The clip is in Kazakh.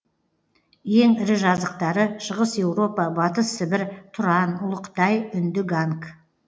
ең ірі жазықтары шығыс еуропа батыс сібір тұран ұлы қытай үнді ганг